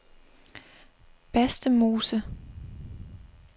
Bastemose